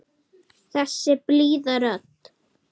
Þessi blíða rödd.